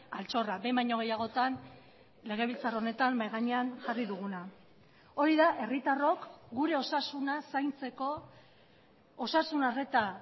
altxorra behin baino gehiagotan legebiltzar honetan mahai gainean jarri duguna hori da herritarrok gure osasunaz zaintzeko osasun arreta